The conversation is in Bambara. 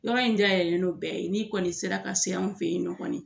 Yɔrɔ in dayɛlɛlen don bɛɛ ye n'i kɔni sera ka se anw fɛ yen nɔ kɔni